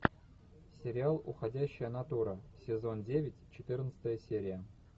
сериал уходящая натура сезон девять четырнадцатая серия